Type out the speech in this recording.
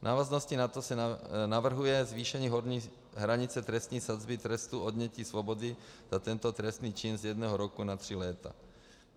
V návaznosti na to se navrhuje zvýšení horní hranice trestní sazby trestu odnětí svobody za tento trestný čin z jednoho roku na tři léta.